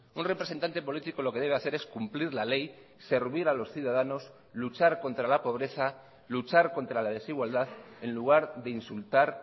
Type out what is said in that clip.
un representante político lo que debe hacer es cumplir la ley servir a los ciudadanos luchar contra la pobreza luchar contra la desigualdad en lugar de insultar